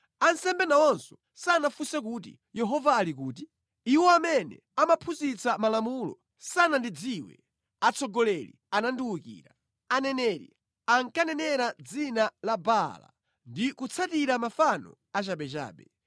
Ansembe nawonso sanafunse kuti, ‘Yehova ali kuti?’ Iwo amene amaphunzitsa malamulo sanandidziwe; atsogoleri anandiwukira. Aneneri ankanenera mʼdzina la Baala, ndi kutsatira mafano achabechabe.